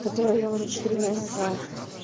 который я уже четыре месяца